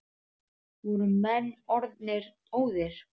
Voru menn orðnir óðir!